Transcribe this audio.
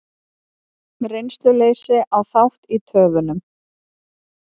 Reynsluleysi á þátt í töfunum